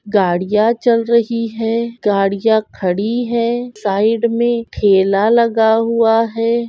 गाड़िया चल रही हैं गाड़िया खड़ी हैं साइड मै ठेला लगा हुआ है।